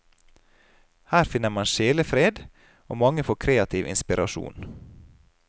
Her finner man sjelefred, og mange får kreativ inspirasjon.